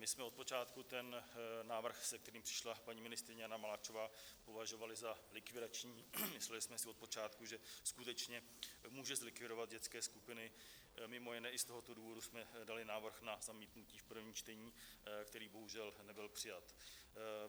My jsme od počátku ten návrh, s kterým přišla paní ministryně Jana Maláčová, považovali za likvidační, mysleli jsme si od počátku, že skutečně může zlikvidovat dětské skupiny, mimo jiné i z tohoto důvodu jsme dali návrh na zamítnutí v prvním čtení, který bohužel nebyl přijat.